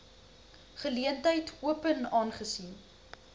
geleentheid open aangesien